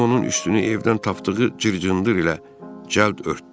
Jim onun üstünü evdən tapdığı cır-cındır ilə cəld örtdü.